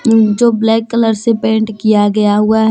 जो black colour से paint किया गया हुआ है।